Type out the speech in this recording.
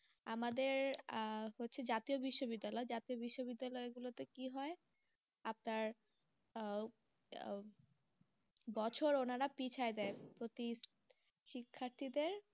আমাদের আহ হচ্ছে জাতীয় বিশ্ববিদ্যালয়, জাতীয় বিশ্ববিদ্যালয় গুলোতে কি হয় আপনার আহ বছর ওনারা পিছায় দেন শিক্ষার্থীদের